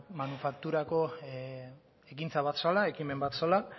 manufakturako ekintza bat zela ekimen bat zela